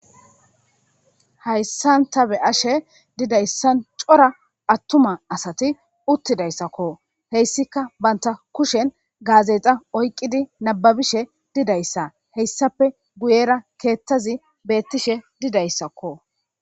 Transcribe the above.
Hayissan taa be'ashshe dizayissanne cora atuma asati utidayissakko .hessikka banitta kushshenni gazeta oyikiddi nababishshe dizayissa besees .